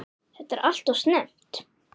Þetta er alltof snemmt.